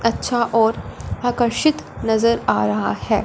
अच्छा और आकर्षित नजर आ रहा है।